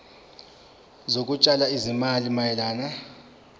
zokutshala izimali mayelana